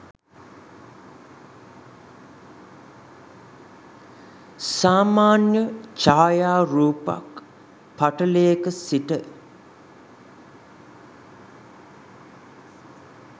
සාමාන්‍ය ඡායාරූපක් පටලයක සිට